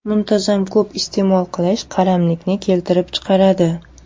Muntazam ko‘p iste’mol qilish qaramlikni keltirib chiqaradi.